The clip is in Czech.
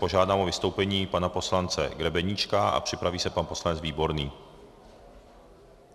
Požádám o vystoupení pana poslance Grebeníčka a připraví se pan poslanec Výborný.